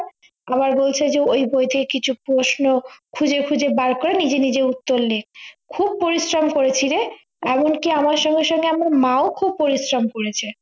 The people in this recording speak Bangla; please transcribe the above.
আবার বলছে যে ওই বই থেকে কিছু প্রশ্ন খুঁজে খুঁজে বার কর নিজে নিজে উত্তর লেখ খুব পরিশ্রম করেছি রে এমন কি আমার সঙ্গে সঙ্গে আমার মাও খুব পরিশ্রম করেছে